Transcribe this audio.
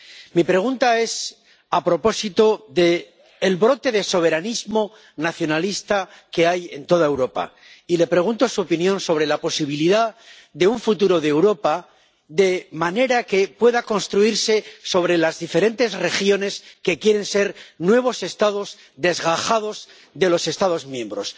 Mi pregunta es a propósito del brote de soberanismo nacionalista que hay en toda Europa y le pregunto su opinión sobre la posibilidad de un futuro de Europa de manera que pueda construirse sobre las diferentes regiones que quieren ser nuevos Estados desgajados de los Estados miembros.